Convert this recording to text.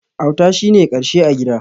Auta shi ne na ƙarshe a gida.